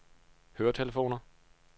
høretelefoner